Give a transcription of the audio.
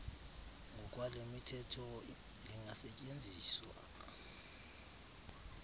ngokwale mithetho lingasetyenziswa